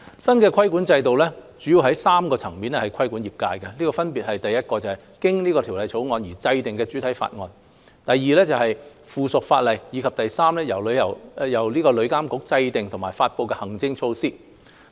新規管制度主要在3個層面規管業界，分別是1經《條例草案》而制訂的主體法例 ；2 附屬法例；以及3由旅監局制訂和發布的行政措施。